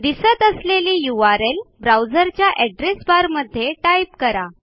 दिसत असलेली यूआरएल ब्राऊझरच्या एड्रेस बार मध्ये टाईप करा